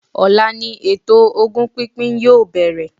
Ọ̀la ni eto ogún pínpín yoo bẹ̀rẹ̀